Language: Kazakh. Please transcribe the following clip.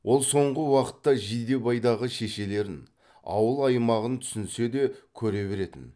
ол соңғы уақытта жидебайдағы шешелерін ауыл аймағын түсінсе де көре беретін